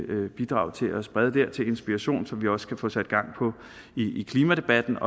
vil bidrage til at sprede dér til inspiration så vi også kan få sat gang i klimadebatten